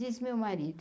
Diz meu marido.